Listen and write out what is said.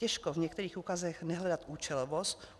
Těžko v některých úkazech nehledat účelovost.